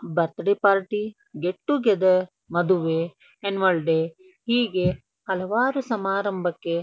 birthday party get together ಮದುವೆ annual day ಹೀಗೆ ಹಲವಾರು ಸಮಾರಂಭಕ್ಕೆ --